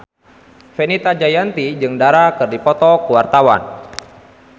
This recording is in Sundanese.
Fenita Jayanti jeung Dara keur dipoto ku wartawan